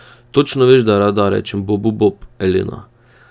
Točno veš, da rada rečem bobu bob, Elena.